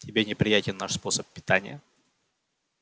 тебе неприятен наш способ питания